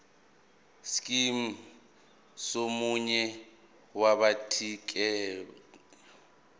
scheme somunye wabathintekayo